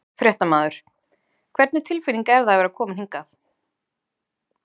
Fréttamaður: Hvernig tilfinning er það að vera komin hingað?